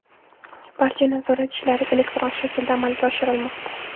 Barcha nazorat ishlari elektron shaklda amalga oshirilmoqda.